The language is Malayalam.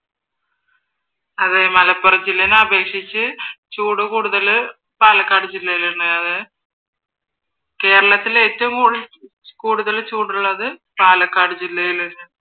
അതെ മലപ്പുറം ജില്ലേനെ അപേക്ഷിച്ച് ചൂട് കൂടുതല് പാലക്കാട് ജില്ലേലെന്നയാണ്. കേരളത്തിൽ ഏറ്റവും കൂടുതൽ ചൂടുള്ളത് പാലക്കാട് ജില്ലയില് ആണ്